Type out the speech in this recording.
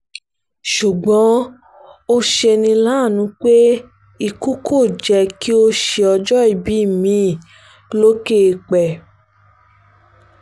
ṣùgbọ́n ó ṣe ní láàánú pé ikú kò jẹ́ kí ó ṣe ọjọ́ ìbí mi-ín lókè eèpẹ̀